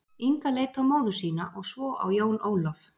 Inga leit á móður sína og svo á Jón Ólaf.